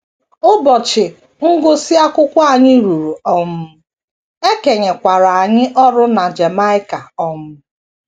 Ụbọchị ngụsị akwụkwọ anyị ruru um, e kenyekwara anyị ọrụ na Jamaica um.